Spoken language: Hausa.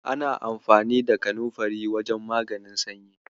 Ana amfani da kanunfari wajen maganin sanyi.